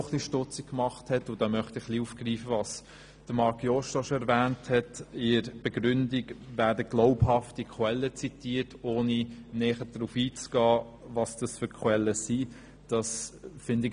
Etwas stutzig gemacht hat mich – und hier möchte ich aufgreifen, was Marc Jost bereits erwähnt hat –, dass in der Begründung glaubhafte Quellen zitiert werden, ohne näher darauf einzugehen, welche Quellen es genau sind.